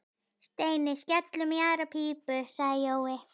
Steini, skellum í aðra pípu sagði Jói.